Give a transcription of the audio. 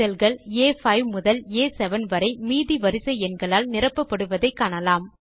cellகள் ஆ5 முதல் ஆ7 வரை மீதி வரிசை எண்களால் நிரப்பப்படுவதை காணலாம்